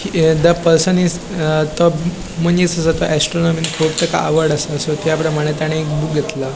The person is तो मनिस आसा तो ऍस्ट्रॉनॉमिन खूप तेका आवड आसा सो त्याप्रमाणे ताणे एक बुक घेतला.